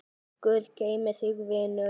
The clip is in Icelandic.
Guð geymi þig, vinur.